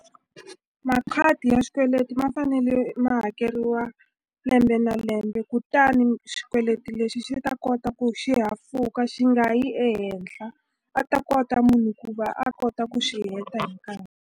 Makhadi ya xikweleti ma fanele ma hakeriwa lembe na lembe kutani xikweleti lexi xi ta kota ku xi hafuka xi nga yi ehenhla a ta kota munhu ku va a kota ku xi heta hi nkarhi.